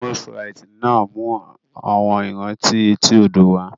Moules frites náà mú àwọn ìrántí etí odò wá